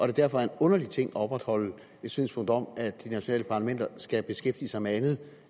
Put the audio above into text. det derfor er en underlig ting at opretholde et synspunkt om at de nationale parlamenter skal beskæftige sig med andet